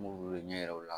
N b'u wele ɲɛ yira u la